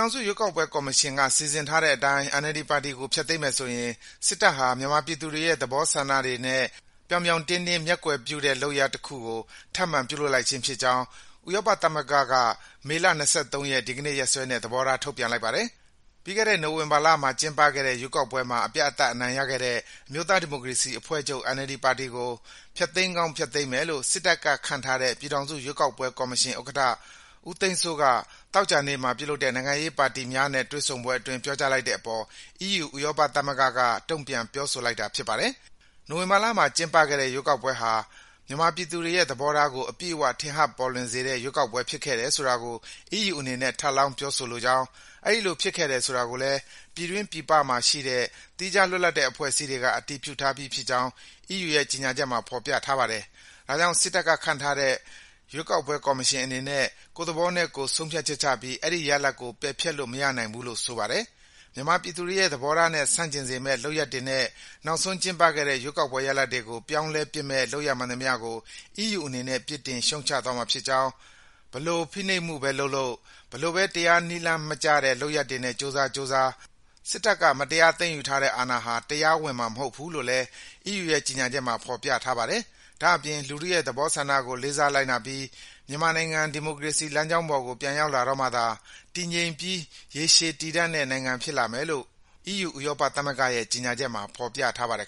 ောင်စုရွေးကောက်ပွဲကော်မရှင်က စီစဉ်ထားတဲ့အတိုင်း NLD ပါတီကို ဖျက်သိမ်းပစ်မယ်ဆိုရင် စစ်တပ်ဟာ မြန်မာပြည်သူတွေရဲ့ သဘောဆန္ဒတွေနဲ့ ဥပဒေကြောင်းအရ လုပ်ထုံးလုပ်နည်းတွေကိုပါ ပြောင်ပြောင်းတင်းတင်း မျက်ကွယ်ပြုတဲ့ လုပ်ရပ်တခုကို ထပ်မံပြုလုပ်လိုက်ခြင်းဖြစ်ကြောင်း ဥရောပသမဂ္ဂက မေလ ၂၃ ရက်၊ ဒီကနေ့ရက်စွဲနဲ့ သဘောထား ထုတ်ပြန်လိုက်ပါတယ်။ ပြီးခဲ့တဲ့ နိုဝင်ဘာလမှာ ကျင်းပခဲ့တဲ့ ရွေးကောက်ပွဲမှာ အပြတ်အသတ် အနိုင်ရခဲ့တဲ့ အမျိုးသားဒီမိုကရေစီအဖွဲ့ချုပ် (NLD) ပါတီကို ဖျက်သိမ်းကောင်း ဖျက်သိမ်းမယ်လို့ စစ်တပ်ကခန့်ထားတဲ့ ပြည်ထောင်စုရွေးကောက်ပွဲကော်မရှင် ဥက္ကဋ္ဌ ဦးသိန်းစိုးက သောကြာနေ့မှာ ပြုလုပ်တဲ့ နိုင်ငံရေးပါတီများနဲ့ တွေ့ဆုံပွဲအတွင်း ပြောကြားလိုက်တဲ့အပေါ် အီးယူ ဥရောပသမဂ္ဂက တုံ့ပြန် ပြောဆိုလိုက်တာ ဖြစ်ပါတယ်။ နိုဝင်ဘာလမှာ ကျင်းပခဲ့တဲ့ ရွေးကောက်ပွဲဟာ မြန်မာပြည်သူတွေရဲ့ သဘောထားကို အပြည့်အဝ ထင်ဟပ်ပေါ်လွင်စေတဲ့ ရွေးကောက်ပွဲ ဖြစ်ခဲ့တယ်ဆိုတာကို အီးယူအနေနဲ့ ထပ်လောင်း ပြောဆိုလိုကြောင်း၊ အဲဒီလိုဖြစ်ခဲ့တယ် ဆိုတာကိုလည်း ပြည်တွင်း ပြည်ပမှာရှိတဲ့ သီးခြားလွတ်လပ်တဲ့ အဖွဲ့အစည်းတွေက အတည်ပြုထားပြီးဖြစ်ကြောင်း အီးယူ ကြေညာချက်မှာ ဖော်ပြထားပါတယ်။ ဒါကြောင့် စစ်တပ်ကခန့်ထားတဲ့ ရွေးကောက်ပွဲကော်မရှင် အနေနဲ့ ကိုယ့်သဘောနဲ့ကိုယ် ဆုံးဖြတ်ချက်ချပြီး အဲဒီရလဒ်ကို ပယ်ဖျက်ပစ်လို့ မရနိုင်ဘူးလို့ ဆိုပါတယ်။ မြန်မာပြည်သူတွေရဲ့ သဘောထားနဲ့ ဆန့်ကျင်စေမယ့် လုပ်ရပ်တွေနဲ့ နောက်ဆုံးကျင်းပခဲ့တဲ့ ရွေးကောက်ပွဲရလဒ်တွေကို ပြောင်းလဲပစ်မယ့် လုပ်ရပ်မှန်သမျှကို အီးယူအနေနဲ့ ပြစ်တင်ရှုတ်ချသွားမှာဖြစ်ကြောင်း၊ ဘယ်လိုဖိနှိပ်မှုပဲလုပ်လုပ်၊ ဘယ်လိုပဲ တရားနည်းလမ်းမကျတဲ့ လုပ်ရပ်တွေနဲ့ ကြိုးစားကြိုးစား စစ်တပ်က မတရားသိမ်းယူထားတဲ့ အာဏာဟာ တရားဝင်မှာ မဟုတ်ဘူးလို့လည်း အီးယူရဲ့ ကြေညာချက်မှာ ဖော်ပြထားပါတယ်။ ဒါ့အပြင် လူထုရဲ့သဘောဆန္ဒကို လေးစားလိုက်နာပြီး မြန်မာနိုင်ငံ ဒီမိုကရေစီ လမ်းကြောင်းပေါ်ကို ပြန်ရောက်လာတော့မှသာ တည်ငြိမ်ပြီး ရေရှည်တည်တံ့တဲ့နိုင်ငံ ဖြစ်လာမယ်လို့ အီးယူ ဥရောပသမဂ္ဂရဲ့ ကြေညာချက်မှာ ဖော်ပြထားပါတယ်